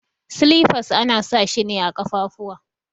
Silifas ana sa shi ne a kafafuwa.